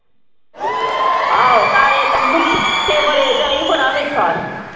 ਆਹੋ ਨਾਲੇ ਮਿੱਠੇ ਬੜੇ ਆ ਝਾਈ ਬੜਾ ਮਿੱਠਾ।